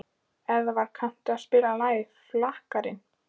Eðvald, kanntu að spila lagið „Flakkarinn“?